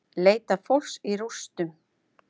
Leita fólks í rústum